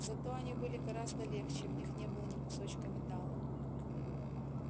зато они были гораздо легче в них не было ни кусочка металла